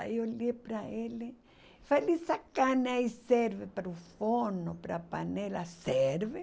Aí olhei para ele e falei, essa carne aí serve para o forno, para a panela, serve?